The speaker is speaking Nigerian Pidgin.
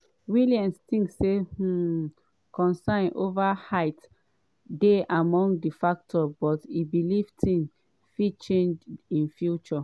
williams tink um concern ova height dey among di factor but e believe tins fit change in future.